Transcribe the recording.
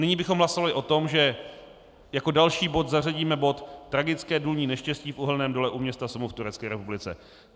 Nyní bychom hlasovali o tom, že jako další bod zařadíme bod Tragické důlní neštěstí v uhelném dole u města Soma v Turecké republice.